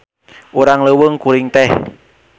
Urang leuweung kuring teh.